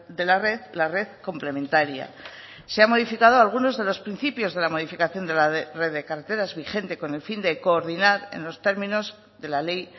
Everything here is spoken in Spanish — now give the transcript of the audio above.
de la red la red complementaria se ha modificado algunos de los principios de la modificación de la red de carreteras vigente con el fin de coordinar en los términos de la ley